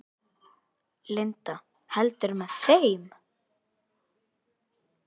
Linda: Heldurðu með þeim?